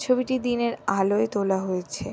ছবিটি দিনের আলোয় তোলা হয়েছে।